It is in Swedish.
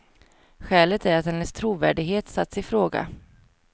Skälet är att hennes trovärdighet satts i fråga.